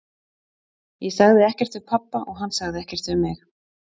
Ég sagði ekkert við pabba og hann sagði ekkert við mig.